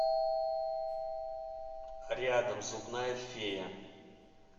рядом зубная фея